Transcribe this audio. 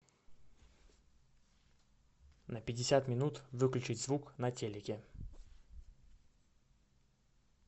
на пятьдесят минут выключить звук на телике